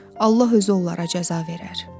Allah özü onlara cəza verər.